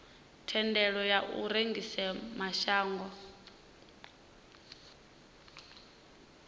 thendelo ya u rengisela mashango